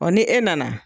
Ɔ ni e nana